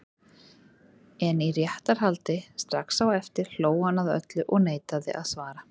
En í réttarhaldi strax á eftir hló hann að öllu og neitaði að svara.